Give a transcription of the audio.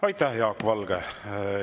Aitäh, Jaak Valge!